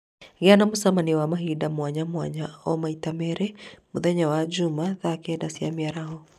Gĩa na mũcemanio wa mahinda mwanya mwanya o kiumia maita merĩ mũthenya wa Jumaa thaa kenda cia mĩaraho